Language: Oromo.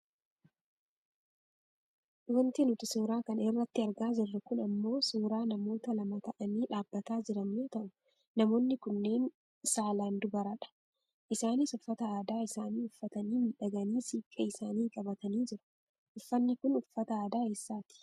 Wanti nuti suuraa kana irratti argaa jirru kun ammoo suuraa namoota lama ta'anii dhaabbatanii jiran yoo ta'u, namoonni kunneen saalaan dubaradha. Isaanis uffata aadaa isaanii uffatanii miidhaganii siiqqee isaanis qabatanii jiru. Uffanni kun uffata aadaa eessaati?